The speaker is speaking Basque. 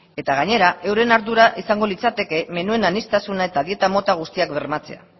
eta gainera euren ardura izango litzateke menuen aniztasuna eta dieta mota guztiak bermatzea